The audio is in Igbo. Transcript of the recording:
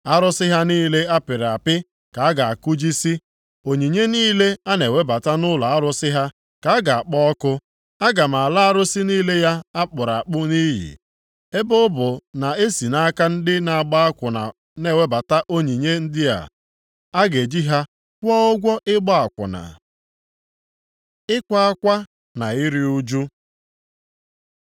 Arụsị ha niile a pịrị apị ka a ga-akụjisi; onyinye niile a na-ewebata nʼụlọ arụsị ha ka a ga-akpọ ọkụ. Aga m ala arụsị niile ya a kpụrụ akpụ nʼiyi. Ebe ọ bụ na e si nʼaka ndị na-agba akwụna na-ewebata onyinye ndị a, a ga-eji ha kwụọ ụgwọ ịgba akwụna.” Ịkwa akwa na iru ụjụ